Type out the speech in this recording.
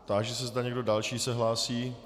Táži se, zda někdo další se hlásí.